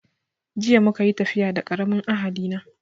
Jiya muka yi tafiya da karamin ahali na